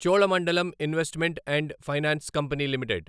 Cholamandalam investment and finance company limited